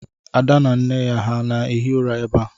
Ada na nne ya ha na-ehi ụra ebe a?